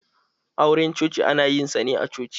Auran coci ana yin sa ne a coci.